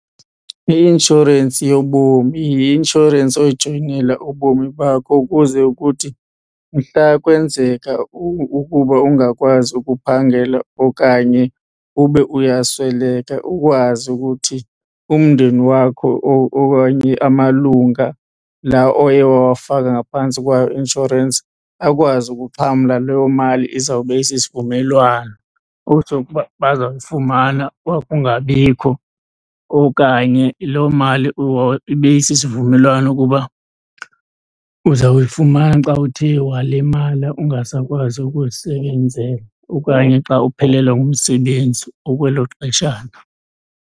I-inshorensi yobomi yi-inshorensi oyijoyinela ubomi bakho ukuze kuthi mhla kwenzeka ukuba ungakwazi ukuphangela okanye ube uyasweleka ukwazi ukuthi umndeni wakho or okanye amalunga laa oye wawafaka ngaphantsi kwayo i-inshorensi akwazi ukuxhamla loo mali izawube isisivumelwano. Utsho ukuba bazayifumana wakungabikho okanye loo mali ibe isisivumelwano ukuba uzawuyifumana xa uthe walimala ungasakwazi ukuzisebenzela okanye xa uphelelwa ngumsebenzi ukwelo xeshana.